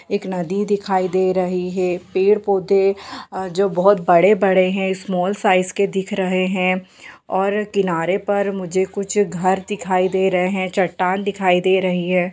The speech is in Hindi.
एक नदी दिखाई दे रही है पेड़-पौधे जो बहुत बड़े-बड़े है स्माल साइज के दिख रहे हैं और किनारे पर मुझे कुछ घर दिखाई दे रहे हैं चट्टान दिखाई दे रही है।